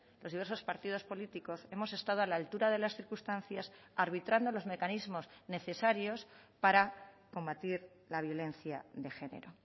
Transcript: los diversos partidos políticos hemos estado a la altura de las circunstancias arbitrando los mecanismos necesarios para combatir la violencia de genero